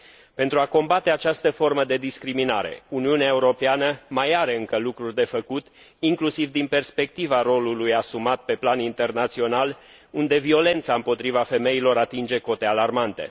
Pentru a combate această formă de discriminare, Uniunea Europeană mai are încă lucruri de făcut, inclusiv din perspectiva rolului asumat pe plan internațional, unde violența împotriva femeilor atinge cote alarmante.